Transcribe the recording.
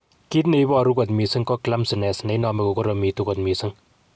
Kit ne iporu kot mising ko clumsiness ne inome kogoromitu kot mising.